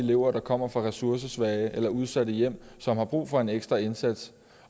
elever der kommer fra ressourcesvage eller udsatte hjem som har brug for en ekstra indsats